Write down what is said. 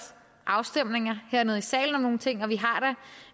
afstemninger hernede i salen om nogle ting og